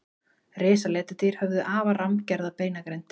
Risaletidýr höfðu afar rammgerða beinagrind.